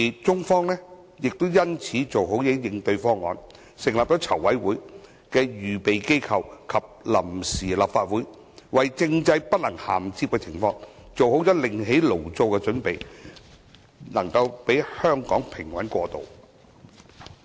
中方亦因此做好應對方案，成立籌委會的預備機構及臨時立法會，為政制不能銜接的情況做好"另起爐灶"的準備，讓香港平穩過渡。